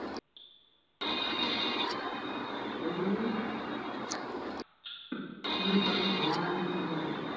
ক'লো নহয় মোৰ ভবা নাই, মই নাজানো